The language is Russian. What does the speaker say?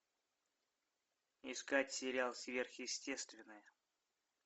искать сериал сверхъестественное